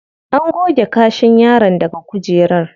An goge kashin yaron daga kujerar.